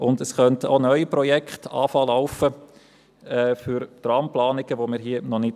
Zudem könnten bisher unbekannte neue Projekte für Tramplanungen anlaufen.